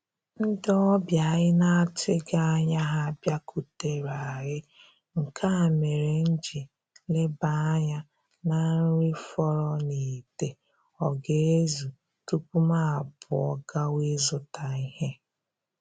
Ndị ọbịa anyị atụghị anya ha bịakutere anyị, nke a mere m ji leba anya na nri fọrọ n'ite ọ ga-ezu tupu m pụọ gawa ịzụta ihe